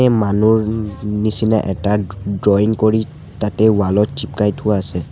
মানুহ নি নিচিনা এটা ড্ৰ ড্ৰইং কৰি তাতে ৱাল ত থোৱা আছে।